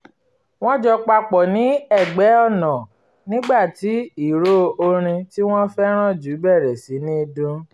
wọ́n jó papọ̀ ní ẹ̀gbẹ́ ọ̀nà nígbà tí ìró orin tí wọ́n fẹ́ràn jù bẹ̀rẹ̀ sí ní dún